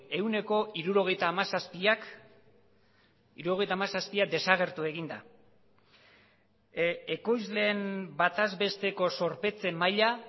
ehuneko hirurogeita hamazazpiak hirurogeita hamazazpia desagertu egin da ekoizleen bataz besteko zorpetze maila